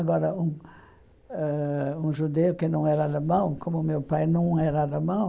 Agora, um ãh um judeu que não era alemão, como meu pai não era alemão,